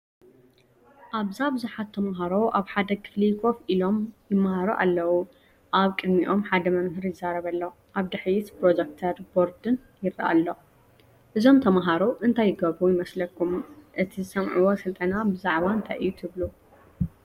ኣብዛ ብዙሓት ተማሃሮ ኣብ ሓደ ክፍሊ ኮፍ ኢሎም፡ ይመሃሩ ኣለዉ። ኣብ ቅድሚኦም ሓደ መምህር ይዛረብ ኣሎ። ኣብ ድሕሪት ፕሮጀክተርን ቦርድን ይርአ ኣሎ። እዞም ተምሃሮ እንታይ ይገብሩ ይመስለኩምን እቲ ዝሰምዕዎ ስልጠና ብዛዕባ እንታይ እዩ ትብሉ?